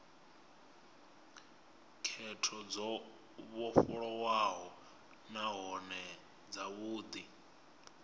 khetho dzo vhofholowaho nahone dzavhudi